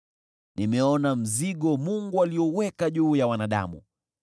Nimeona mzigo Mungu alioweka juu ya wanadamu.